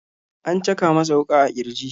An caka masa wuka a kirji.